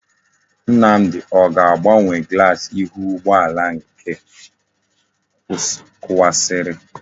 Nnamdi o ga-agbanwe glass ihu ugboala nke o kuwasiri?